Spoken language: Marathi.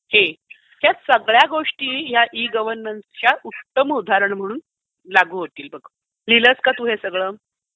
या सगळ्या गोष्टी या ई गव्हर्नन्सच्या उत्तम उदाहरण म्हणून लागू होतील बघ. लिहिलंस का हे तू8 सगळं?